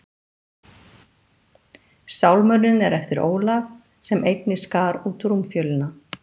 Sálmurinn er eftir Ólaf, sem einnig skar út rúmfjölina.